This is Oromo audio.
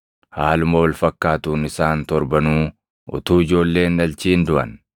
inni sadaffaanis ishee fuudhan; haaluma wal fakkaatuun isaan torbanuu utuu ijoollee hin dhalchin duʼan.